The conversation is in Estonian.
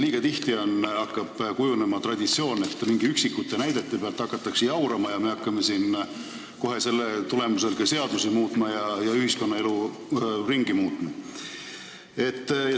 Eestis on kujunemas traditsioon, et mingite üksikute näidete pealt hakatakse jaurama ja me hakkame selle tulemusel kohe ka seadusi ja ühiskonnaelu muutma.